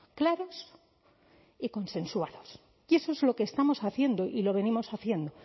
claros y consensuados y eso es lo que estamos haciendo y lo venimos haciendo